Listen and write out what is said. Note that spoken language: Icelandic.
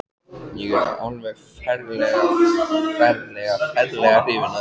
Ég er alveg ferlega, ferlega, ferlega hrifinn af þér.